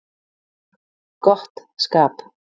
Gott skap